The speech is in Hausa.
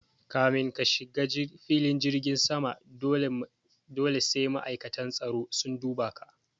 Kamin ka shiga filin jirgin sama dole sai ma'aikatan tsaro sun duba ka